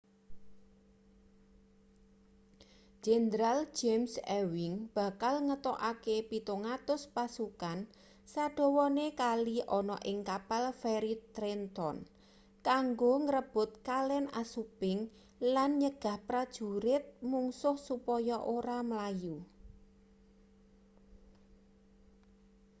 jenderal james ewing bakal ngetokake 700 pasukan sadawane kali ana ing kapal feri trenton kanggo ngrebut kalen assunpink lan nyegah prajurit mungsuh supaya ora mlayu